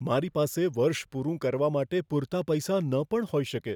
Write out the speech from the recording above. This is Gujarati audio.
મારી પાસે વર્ષ પૂરું કરવા માટે પૂરતા પૈસા ન પણ હોય શકે.